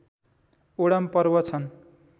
Odum पर्व छन्